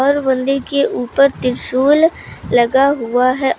और मंदिर के ऊपर त्रिशूल लगा हुआ है औ--